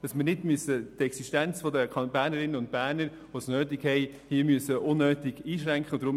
Es soll nicht die Existenz von Bernerinnen und Bernern, die Unterstützung nötig haben, unnötig eingeschränkt werden.